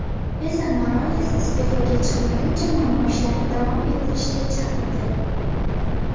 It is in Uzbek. Mesa Morales iste’foga chiqmaguncha namoyishlarni davom ettirishga chaqirdi.